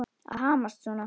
Að hamast svona.